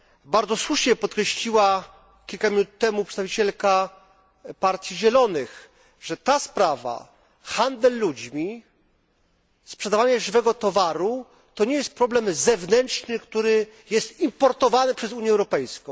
Bardzo słusznie podkreśliła kilka minut temu przedstawicielka partii Zielonych, że ta sprawa handel ludźmi, sprzedawanie żywego towaru to nie jest problem zewnętrzny, który jest importowany przez Unię Europejską.